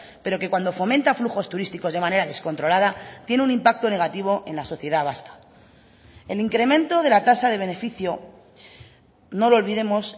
pero que cuando fomenta flujos turísticos de manera descontrolada tiene un impacto negativo en la sociedad vasca el incremento de la tasa de beneficio no lo olvidemos